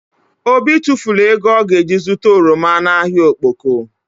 Obi tufulu ego ọ ga ji zụta oroma na ahịa Okpoko